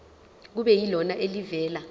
kube yilona elivela